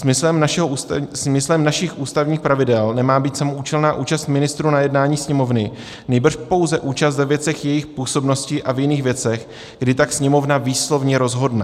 Smyslem našich ústavních pravidel nemá být samoúčelná účast ministrů na jednání Sněmovny, nýbrž pouze účast ve věcech jejich působnosti a v jiných věcech, kdy tak Sněmovna výslovně rozhodne.